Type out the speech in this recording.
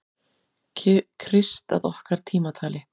Krist að okkar tímatali.